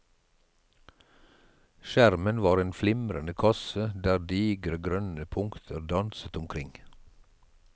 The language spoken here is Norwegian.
Skjermen var en flimrende kasse der digre, grønne punkter danset omkring.